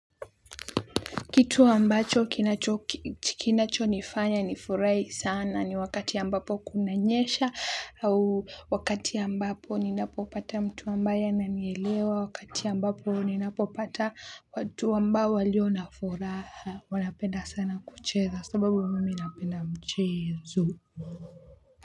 Kitu ambacho kinachonifanya nifurai sana ni wakati ambapo kunanyesha au wakati ambapo ninapopata mtu mbaya ananielewa wakati ambapo ninapopata watu ambao walio na furaha wanapenda sana kucheza sababu mimi napenda mchezo.